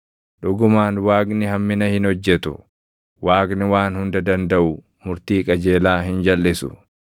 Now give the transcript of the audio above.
Dhugumaan Waaqni hammina hin hojjetu; Waaqni Waan Hunda Dandaʼu murtii qajeelaa hin jalʼisu.